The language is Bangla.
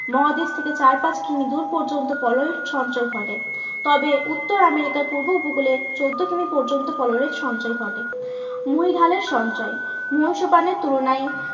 মহাদেশ থেকে চার পাঁচ কিমি দূর পর্যন্ত পলয়ের সঞ্চয় ঘটে। তবে উত্তর আমেরিকার পূর্ব উপকূলে চোদ্দ কিমি পর্যন্ত পললের সঞ্চয় ঘটে। মহীঢালের সঞ্চয় মহীসোপানের তুলনায়